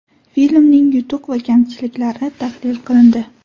Filmning yutuq va kamchiliklari tahlil qilindi.